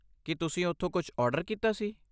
ਕੀ ਤੁਸੀਂ ਉਥੋਂ ਕੁੱਝ ਆਰਡਰ ਕੀਤਾ ਸੀ?